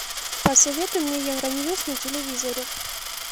посоветуй мне евроньюс на телевизоре